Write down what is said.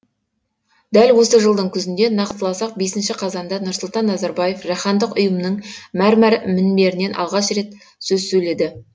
дәл осы жылдың күзінде нақтыласақ бесінші қазанда нұрсұлтан назарбаев жаһандық ұйымның мәрмәр мінберінен алғаш рет сөз сөйледі